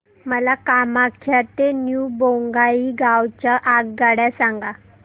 मला कामाख्या ते न्यू बोंगाईगाव च्या आगगाड्या सांगा